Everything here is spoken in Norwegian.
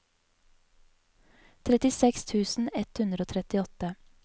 trettiseks tusen ett hundre og trettiåtte